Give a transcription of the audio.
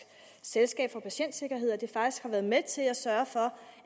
selskab for patientsikkerhed at det faktisk har været med til at sørge for